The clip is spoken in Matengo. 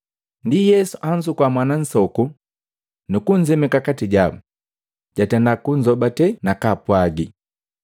Ndi Yesu anzukua mwana nsoku nukunzemeka kati jabu, jwatenda kunzobate nakaapwagi,